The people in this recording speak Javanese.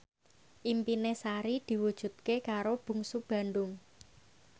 impine Sari diwujudke karo Bungsu Bandung